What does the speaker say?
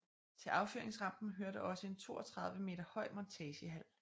Til affyringsrampen hørte også en 32 meter høj montagehal